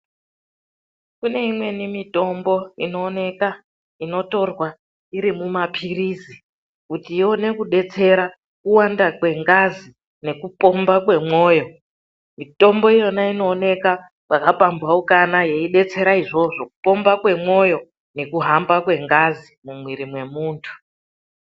Kune imweni mitombo inoonekwa inotorwa iri mumapirizi kuti ione kudetsera kuwanda kwengazi nekupomba kwemwoyo .Mitombo iyoyo inoonekwa pakapamphaukana yeidetsera izvozvo zvekupomba kwemoyo nekuhamba kwengazi mumwiri mwemundu.